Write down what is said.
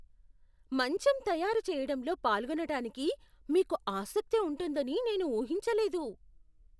మంచం తయారు చేయటంలో పాల్గొనటానికి మీకు ఆసక్తి ఉంటుందని నేను ఊహించలేదు.